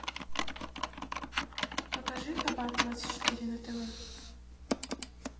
покажи хабар двадцать четыре на тв